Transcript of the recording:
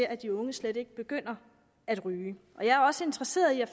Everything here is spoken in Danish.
at de unge slet ikke begynder at ryge og jeg er også interesseret i